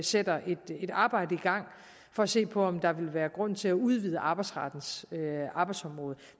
sætter nu et arbejde i gang for at se på om der vil være grund til at udvide arbejdsrettens arbejdsområde